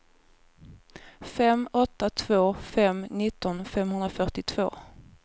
fem åtta två fem nitton femhundrafyrtiotvå